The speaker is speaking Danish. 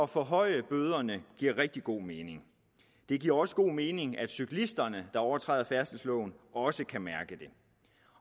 forhøje bøderne giver rigtig god mening det giver også god mening at cyklisterne der overtræder færdselsloven også kan mærke det